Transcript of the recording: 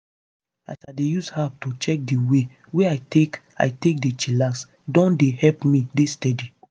as i dey use app to dey check di way wey i take i take dey chillax don dey help me dey steady.